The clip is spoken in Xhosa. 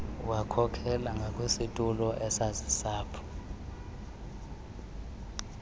wakhokela ngakwisitulo esasilapho